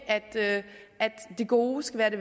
at det gode skal være det